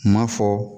Kuma fɔ